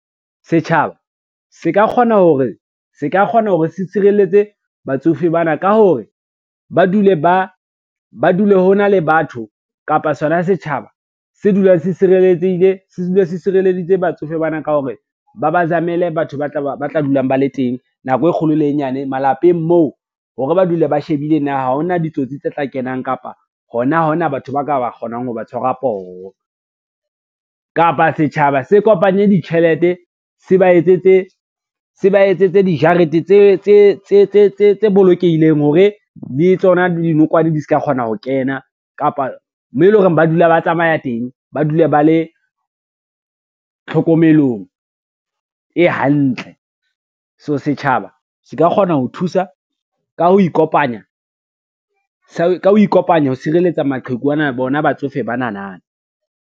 Setjhaba se ka kgona hore se tshireletse batsofe bana ka hore ba dule ho na le batho kapa sona setjhaba se dulang se sireletsehile se dula se sireleditse batsofe bana ka hore, ba ba zamele batho ba tla dulang ba le teng nako e kgolo le e nyane malapeng moo hore ba dule ba shebile na ha hona ditsotsi tse tla kenang, kapa hona ha ho na batho ba ka ba kgonang ho ba tshwarwa poho. Kapa setjhaba se kopanye ditjhelete se ba etsetse dijarete tse bolokehileng hore di le tsona dinokwane di ska kgona ho kena kapa, meo e lo reng ba dula ba tsamaya teng, ba dule ba le tlhokomelong e hantle. So setjhaba se ka kgona ka ho ikopanya ho sireletsa bona batsofe banana.